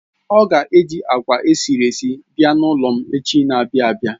Ọ ga eji agwa esiri esi abia n'ulom echi n'abia abia